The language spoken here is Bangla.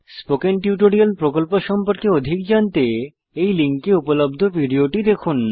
স্পোকেন টিউটোরিয়াল প্রকল্প সম্পর্কে অধিক জানতে এই লিঙ্কে উপলব্ধ ভিডিওটি দেখুন